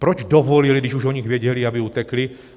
Proč dovolili, když už o nich věděli, aby utekli?